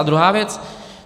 A druhá věc.